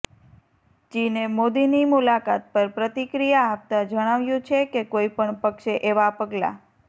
ચીને મોદીની મુલાકાત પર પ્રતિક્રિયા આપતા જણાવ્યું છે કે કોઈ પણ પક્ષે એવા પગલા